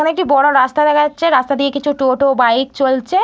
এখানে একটি বড় রাস্তা দেখা যাচ্ছে। রাস্তা দিয়ে কিছু টোটো বাইক চলছে।